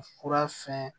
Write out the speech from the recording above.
Fura fɛn